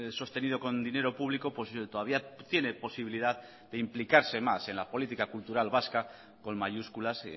sostenido con dinero público todavía tiene posibilidad de implicarse más en la política cultural vasca con mayúsculas